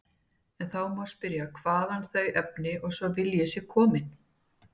En þá má spyrja hvaðan þau efni og sá vilji séu komin.